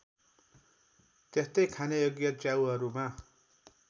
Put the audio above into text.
त्यस्तै खानयोग्य च्याउहरूमा